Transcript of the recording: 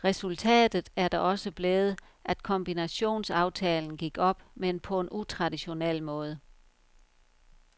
Resultatet er da også blevet, at kombinationsaftalen gik op, men på en utraditionel måde.